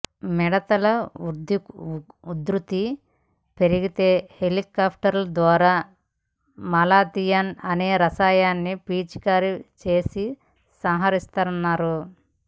మిడతల ఉధృతి పెరిగితే హెలికాప్టర్ల ద్వారా మలాథియాన్ అనే రసాయనాన్ని పిచికారి చేసి సంహరిస్తారన్నారు